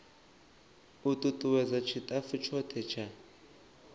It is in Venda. u tutuwedza tshitafu tshothe tsha